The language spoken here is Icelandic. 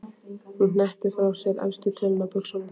Hún hneppir frá sér efstu tölunni á buxunum.